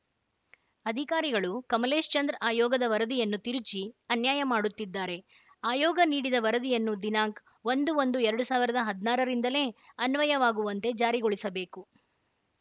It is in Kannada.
ಅಧಿಕಾರಿಗಳು ಕಮಲೇಶ್‌ಚಂದ್ರ ಆಯೋಗದ ವರದಿಯನ್ನು ತಿರುಚಿ ಅನ್ಯಾಯ ಮಾಡುತ್ತಿದ್ದಾರೆ ಆಯೋಗ ನೀಡಿದ ವರದಿಯನ್ನು ದಿನಾಂಕ್ ಒಂದು ಒಂದು ಎರಡ್ ಸಾವಿರದ ಹದ್ನಾರರಿಂದಲೇ ಅನ್ವಯವಾಗುವಂತೆ ಜಾರಿಗೊಳಿಸಬೇಕು